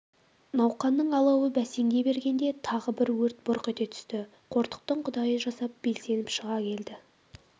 науқанның алауы бәсеңдей бергенде тағы бір өрт бұрқ ете түсті қортықтың құдайы жасап белсеніп шыға келді